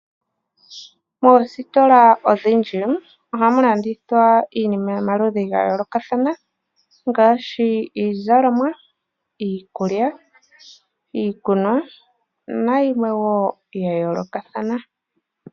Oositola odhindji ohamu landithwa iinima yomaludhi ga yoolokathana ngaashi iizalomwa, iikulya, iikunwa nayimwe wo ya yoolokathana.